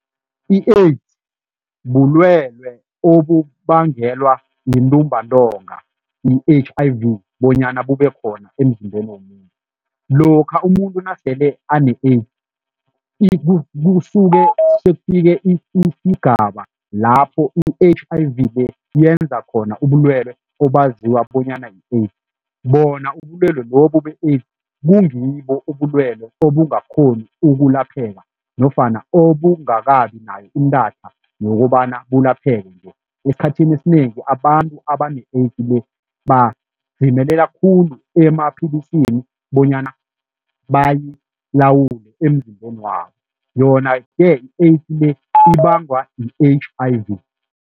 I-AIDS bulwelwe obubangelwa yintumbantonga i-H_I_V bonyana bube khona emzimbeni womuntu, lokha umuntu nasele ane-AIDS, kusuke sekufike isigaba lapho i-H_I_V le yenza khona ubulwelwe obaziwa bonyana yi-AIDS, bona ubulwelwe lobu be-AIDS kungibo ubulwelwe obungakghoni ukulapheka nofana obungakabi nayo intatha yokobana bulapheke esikhathini esinengi abantu abane-AIDS le khulu emapilisini bonyana bayilawule emzimbeni wabo yona-ke i-AIDS le ibangwa yi-H_I_V.